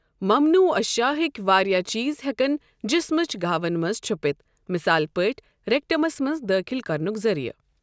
ممنوعہ اشیاء ہٕکۍ واریٛاہ چیٖز ہٮ۪کَن جسمٕچ گہاوَن منٛز چھُپِتھ، مثال پٲٹھۍ ریکٹمَس منٛز دٔاخِل کرنُک ذٔریعہٕ۔